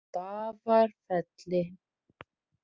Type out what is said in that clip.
Stafafelli